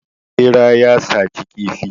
Ɓera ya saci kifi.